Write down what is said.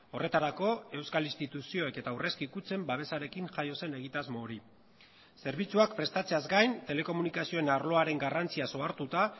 horretarako euskal instituzioek eta aurrezki kutxen babesarekin jaio zen egitasmo hori zerbitzuak prestatzeaz gain telekomunikazioen arloaren garrantziaz ohartuta